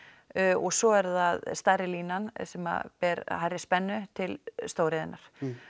og svo er það stærri línan sem ber hærri spennu til stóriðjunnar